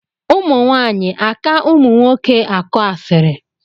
ụmụnwaanyị aka ụmụnwoke akụ asịrị?